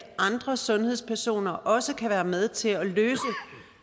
andre sundhedspersoner også kan være med til at løse